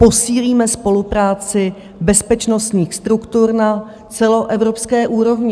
Posílíme spolupráci bezpečnostních struktur na celoevropské úrovni."